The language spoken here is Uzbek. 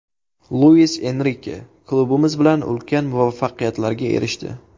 Luis Enrike klubimiz bilan ulkan muvaffaqiyatlarga erishdi.